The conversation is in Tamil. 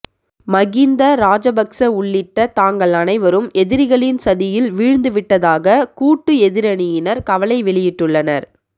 மகிந்த ராஜபக்ச உள்ளிட்ட தாங்கள் அனைவரும் எதிரிகளின் சதியில் வீழ்ந்து விட்டதாக கூட்டு எதிரணியினர் கவலை வெளியிட்டுள்ளனர்